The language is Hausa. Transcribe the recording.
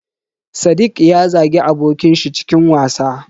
Sadiq ya zagi abokin shi cikin wasa.